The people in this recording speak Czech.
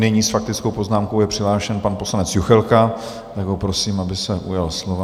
Nyní s faktickou poznámkou je přihlášen pan poslanec Juchelka, tak ho prosím, aby se ujal slova.